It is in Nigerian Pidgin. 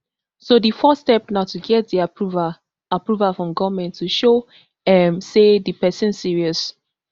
so di first step na to get di approval approval from goment to show um say di pesin serious